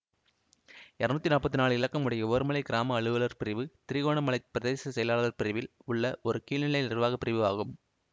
இருநூற்றி நாற்பத்தி நாளு இலக்கம் உடைய உவர்மலை கிராம அலுவலர் பிரிவு திருகோணமலை பிரதேச செயலாளர் பிரிவில் உள்ள ஓர் கீழ்நிலை நிர்வாக பிரிவு ஆகும்